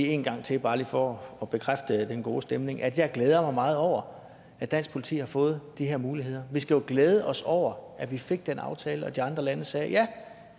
en gang til bare for at bekræfte den gode stemning nemlig at jeg glæder mig meget over at dansk politi har fået de her muligheder vi skal jo glæde os over at vi fik den aftale og at de andre lande sagde ja